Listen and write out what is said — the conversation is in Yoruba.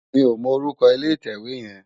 Mi ó mò órúkò ilé itèwé yèn